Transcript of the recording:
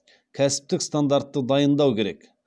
кәсіптік стандартты дайындау керек